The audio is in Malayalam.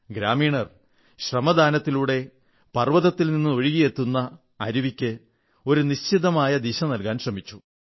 ഗ്രാമീണർ ശ്രമദാനത്തിലുടെ പർവ്വതത്തിൽനിന്നൊഴുകിയിരുന്ന അരുവിയ്ക്ക് ഒരു നിശ്ചിതമായ ദിശ നല്കാൻ ശ്രമിച്ചു